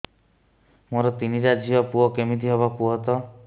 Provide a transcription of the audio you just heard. ମୋର ତିନିଟା ଝିଅ ପୁଅ କେମିତି ହବ କୁହତ